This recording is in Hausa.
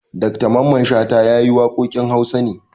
Dr Mamman Shata ya yi waƙoƙin Hausa ne.